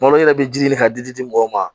Malo yɛrɛ bɛ ji ɲini ka di di mɔgɔw ma